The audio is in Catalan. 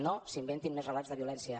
no s’inventin més relats de violència